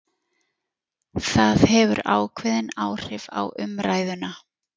Það hefur ákveðin áhrif á umræðuna